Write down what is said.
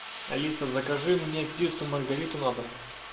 алиса закажи мне пиццу маргариту на дом